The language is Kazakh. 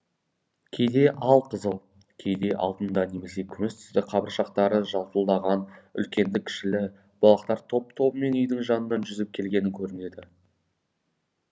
кейде ал қызыл кейде алтынды немесе күміс түсті қабыршақтары жалтылдаған үлкенді кішілі балықтар топ тобымен үйдің жанына жүзіп келгені көрінеді